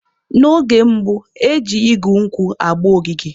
N'oge gboo, eji igu nkwụ agba ogige.